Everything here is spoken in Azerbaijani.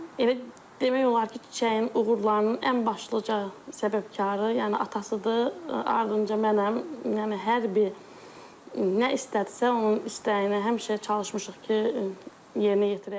Elə demək olar ki, Çiçəyin uğurlarının ən başlıca səbəbkarı, yəni atasıdır, ardınca mənəm, yəni hər bir nə istədisə, onun istəyinə həmişə çalışmışıq ki, yerinə yetirək.